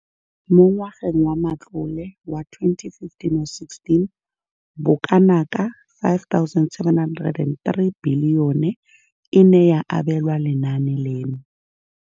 Mo ngwageng wa matlole wa 2015 le 16, bokanaka R5 703 bilione e ne ya abelwa lenaane leno.